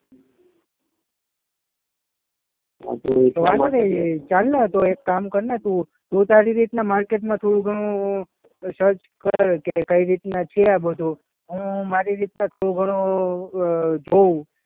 હા તો વાંધો નહીં ચાલને તો એક કામ કરને તું, તું તારી રીતે માર્કેટમાં થોડું ઘણું સર્ચ કર કે કઈ રીતના છે આ બધું. હું મારી રીતના થોડું ઘણું અ જોઉં.